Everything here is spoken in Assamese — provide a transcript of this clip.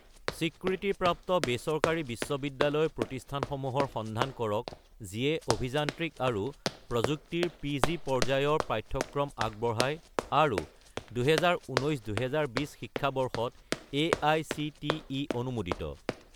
স্বীকৃতিপ্ৰাপ্ত বেচৰকাৰী বিশ্ববিদ্যালয় প্ৰতিষ্ঠানসমূহৰ সন্ধান কৰক যিয়ে অভিযান্ত্ৰিক আৰু প্ৰযুক্তি ৰ পি.জি. পৰ্যায়ৰ পাঠ্যক্ৰম আগবঢ়ায় আৰু 2019 - 2020 শিক্ষাবৰ্ষত এআইচিটিই অনুমোদিত